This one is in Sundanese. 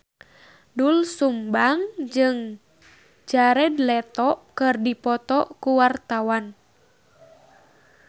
Doel Sumbang jeung Jared Leto keur dipoto ku wartawan